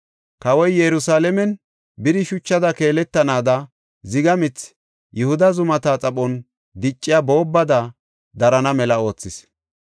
Kawoy Yerusalaamen biri shuchada keeletanaada ziga mithi Yihuda zumata xaphon dicciya boobbada darana mela oothis.